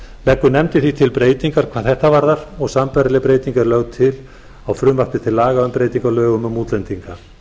nefndin því til breytingu hvað þetta varðar og sambærileg breyting er lögð til á frumvarpi til laga um breytingu á lögum um útlendinga